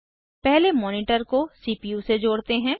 पहले मॉनिटर को सीपीयू से जोड़ते हैं